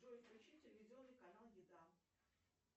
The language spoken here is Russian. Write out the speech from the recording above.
джой включи телевизионный канал еда